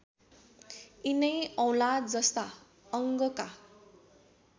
यिनै औँलाजस्ता अङ्गका